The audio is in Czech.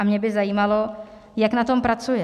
A mě by zajímalo, jak na tom pracuje.